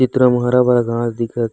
चित्र म हरा-भरा घाँस दिखत--